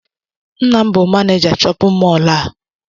Nna m bụ manija shóppin mol a.